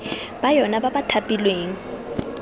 ba yona ba ba thapilweng